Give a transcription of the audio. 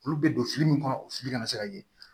Olu bɛ don fili min kɔnɔ o fili kana se ka ye